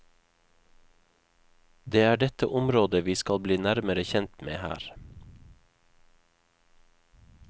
Det er dette området vi skal bli nærmere kjent med her.